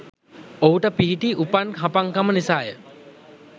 ඔහුට පිහිටි උපන් හපන්කම නිසාය.